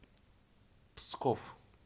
псков